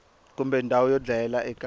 kumbe ndhawu yo dlayela eka